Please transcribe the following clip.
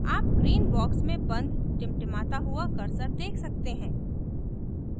आप green box में बंद टिमटिमाता हुआ cursor देख सकते हैं